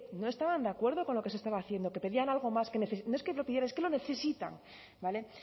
no estaban de acuerdo con lo que se estaba haciendo que pedían algo más que no es que lo pidieran es que lo necesitan vale